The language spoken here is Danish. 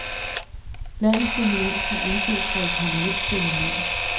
Landets dominans må anses for et permanent fænomen.